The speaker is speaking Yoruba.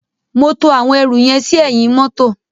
Mo to àwọn ẹrù yẹn sí ẹ̀yìn mọ́tọ̀.